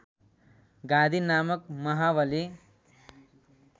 गाधि नामक महाबली